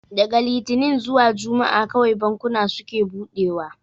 Daga litinin zuwa juma'a kawai bankuna suke buɗewa